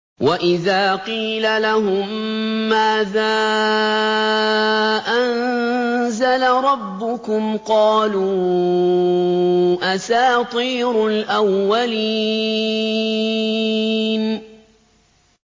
وَإِذَا قِيلَ لَهُم مَّاذَا أَنزَلَ رَبُّكُمْ ۙ قَالُوا أَسَاطِيرُ الْأَوَّلِينَ